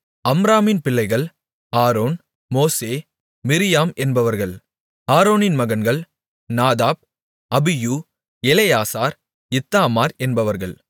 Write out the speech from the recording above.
அம்ராமின் பிள்ளைகள் ஆரோன் மோசே மிரியாம் என்பவர்கள் ஆரோனின் மகன்கள் நாதாப் அபியூ எலெயாசார் இத்தாமார் என்பவர்கள்